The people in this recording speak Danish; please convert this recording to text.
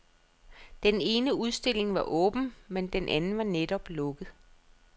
Den ene udstilling var åben, men den anden var netop lukket.